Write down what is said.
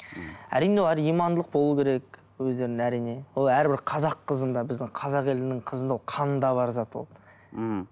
әрине имандылық болу керек өздерінде әрине ол әрбір қазақ қызында біздің қазақ елінің қызында ол қанында бар зат ол мхм